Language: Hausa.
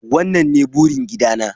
wannan ne burin gida na.